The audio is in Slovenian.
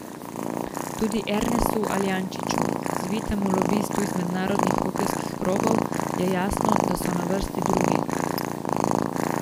Tudi Ernestu Aljančiču, zvitemu lobistu iz mednarodnih hokejskih krogov, je jasno, da so na vrsti drugi.